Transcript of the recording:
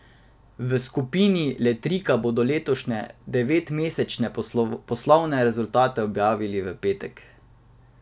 V skupini Letrika bodo letošnje devetmesečne poslovne rezultate objavili v petek.